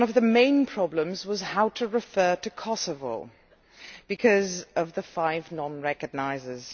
One of the main problems was how to refer to Kosovo because of the five non recognisers.